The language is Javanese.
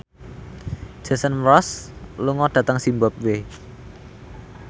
Jason Mraz lunga dhateng zimbabwe